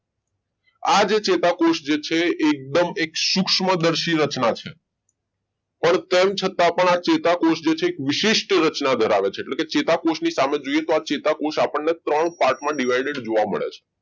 આ જે ચેતાકોષ જે છે એકદમ એક સૂક્ષ્મદર્શક રચના છે પણ તેમ છતાં પણ આ ચેતાકોષ એક વિશેષ રચના ધરાવે છે તો કે ચેતાકોષની સામે જોઈએ તો રચેતા કોષ આપણને ત્રણ part divided જોવા મળે છે